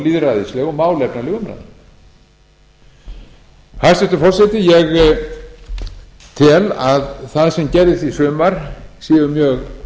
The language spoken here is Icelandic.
lýðræðisleg og málefnaleg umræða hæstvirtur forseti ég tel að það sem gerðist í sumar séu mjög